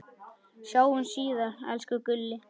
Sjáumst síðar, elsku Gulli.